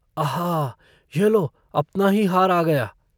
अहा यह लो अपना ही हार आ गया।